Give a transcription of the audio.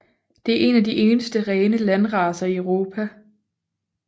Det er en af de eneste rene landracer i Europa